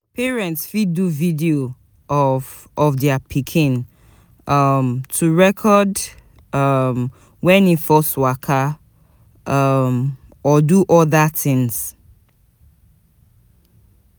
Parents fit do video of of their pikin um to record um when im first waka um or do other things